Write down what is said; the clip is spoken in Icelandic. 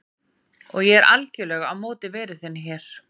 Og ég er algerlega á móti veru þinni hér.